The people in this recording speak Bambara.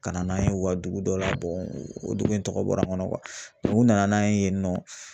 Ka na n'a ye u ka dugu dɔ la o dugu in tɔgɔ bɔra n kɔnɔ u nana n'a ye yen nɔ